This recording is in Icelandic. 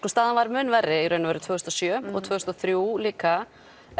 staðan var mun verri í raun og veru tvö þúsund og sjö og tvö þúsund og þrjú líka